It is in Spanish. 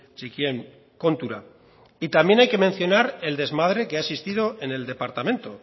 txikien kontura y también hay que mencionar el desmadre que ha existido en el departamento